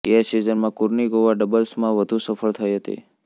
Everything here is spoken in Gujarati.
એ સિઝનમાં કુર્નિકોવા ડબલ્સમાં વધુ સફળ થઈ હતી